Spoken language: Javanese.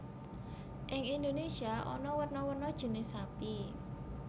Ing Indonesia ana werna werna jinis sapi